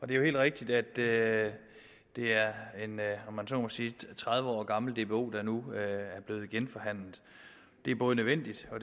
det er jo helt rigtigt at det at det er en om man så må sige tredive år gammel dbo der nu er blevet genforhandlet det er både nødvendigt og